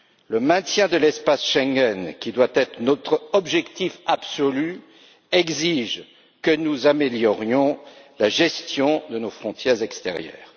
Le maintien de l'espace Schengen, qui doit être notre objectif absolu, exige que nous améliorions la gestion de nos frontières extérieures.